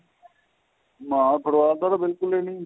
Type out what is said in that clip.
ਨਾ football ਦਾ ਤਾਂ ਬਿਲਕੁਲ ਈ ਨੀਂ